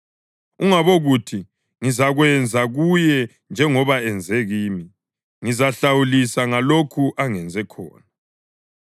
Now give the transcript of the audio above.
Ungabokuthi, “Ngizakwenza kuye njengoba enze kimi; ngizahlawulisa ngalokho angenze khona.”